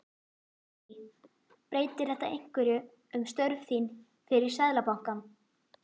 Guðný: Breytir þetta einhverju um störf þín fyrir Seðlabankann?